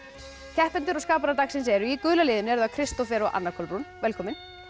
keppendur og skaparar dagsins eru í gula liðinu Kristófer og Anna Kolbrún velkomin